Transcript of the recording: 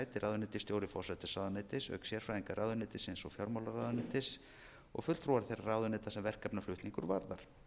ráðuneytisstjóri forsætisráðuneytis auk sérfræðinga ráðuneytisins og fjármálaráðuneytis og fulltrúar þeirra ráðuneyta sem verkefnaflutningur varðar